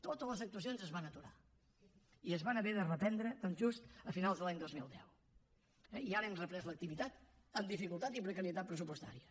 totes les actuacions es van aturar i es van haver de reprendre doncs just a finals de l’any dos mil deu eh i ara hem reprès l’activitat amb dificultat i precarietat pressupostària